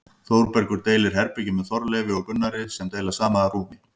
Þórbergur deilir herbergi með Þorleifi og Gunnari sem deila sama rúmi.